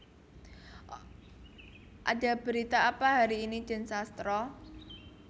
Ada Berita Apa hari ini Den Sastro